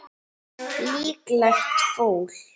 Líklegt fúl.